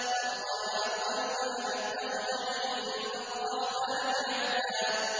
أَطَّلَعَ الْغَيْبَ أَمِ اتَّخَذَ عِندَ الرَّحْمَٰنِ عَهْدًا